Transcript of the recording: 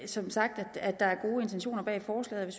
som sagt at der er gode intentioner bag forslaget